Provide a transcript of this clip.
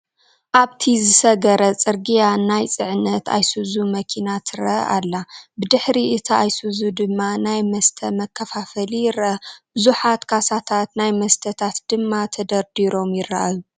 ኣብቲ ዝሰገረ ፅርግያ ናይ ፅዕነት ኣየሱዙ መኪና ትረአ ኣላ፡፡ ብድሕሪ እታ ኣይሱዙ ድማ ናይ መስተ መከፋፈሊ ይረአ፡፡ ብዙሓት ካሳታት ናይ መስተታን ድማ ደርዲሮም ይራኣዩ፡፡